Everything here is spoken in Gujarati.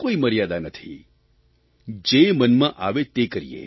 કોઇ મર્યાદા નથી જે મનમાં આવે તે કરીએ